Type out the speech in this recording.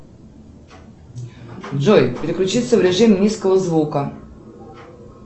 джой переключиться в режим низкого звука